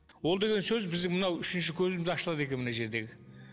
ол деген сөз біздің мынау үшінші көзіміз ашылады екен мына жердегі